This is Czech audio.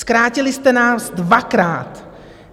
Zkrátili jste nás dvakrát.